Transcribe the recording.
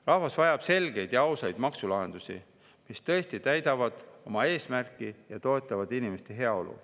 Rahvas vajab selgeid ja ausaid maksulahendusi, mis tõesti täidavad oma eesmärki ja toetavad inimeste heaolu.